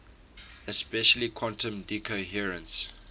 especially quantum decoherence